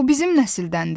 o bizim nəsildəndir?